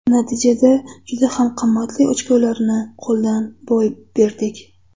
Natijada juda ham qimmatli ochkolarni qo‘ldan boy berdik.